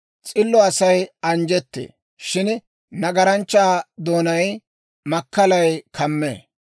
S'illo Asay anjjettee; shin nagaranchchaa doonaa makkalay kamee.